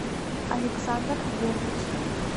александр вербич